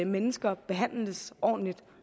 mennesker behandles ordentligt